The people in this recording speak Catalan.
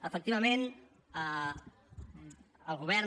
efectivament el govern